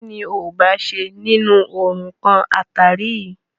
Kínní ò bá ṣe nínú oòrùn kan àtàrí yìí?